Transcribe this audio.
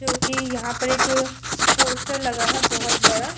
चूँकि यहाँ पर एक पोस्टर लगा है बोहोत बड़ा।